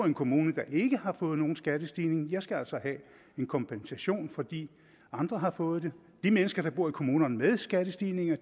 en kommune der ikke har fået nogen skattestigning og jeg skal altså have en kompensation fordi andre har fået det de mennesker der bor i kommuner med skattestigninger